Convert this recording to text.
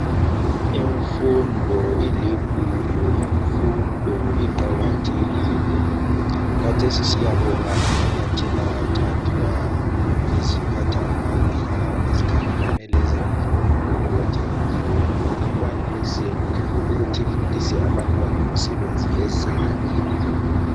Imfundo iligugu imfundo iqakathekile khathec siyabonga amanyathela athathwa yiziphatha mandla ezikhangelane lezemfundo ukuthi imfundo ikwanise ukuthi ifundise abantwana imisebenzi yezandla